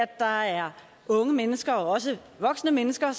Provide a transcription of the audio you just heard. der er unge mennesker og også voksne mennesker